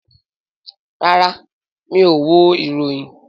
Rárá, mi ò wo ìròyìn